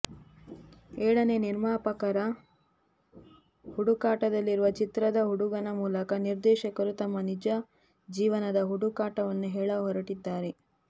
ಏಳನೇ ನಿರ್ಮಾಪಕರ ಹುಡುಕಾಟದಲ್ಲಿರುವ ಚಿತ್ರದ ಹುಡುಗನ ಮೂಲಕ ನಿರ್ದೇಶಕರು ತಮ್ಮ ನಿಜ ಜೀವನದ ಹುಡುಕಾಟವನ್ನು ಹೇಳ ಹೊರಟಿದ್ದಾರೆ